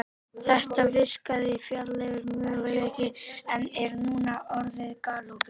Þetta virkaði fjarlægur möguleiki en er núna orðið galopið.